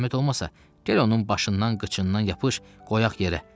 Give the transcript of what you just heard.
Zəhmət olmasa, gəl onun başından qıçından yapış, qoyaq yerə.